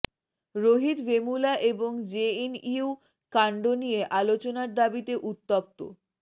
রোহিত ভেমুলা এবং জেএনইউ কাণ্ড নিয়ে আলোচনার দাবিতে উত্তপ্ত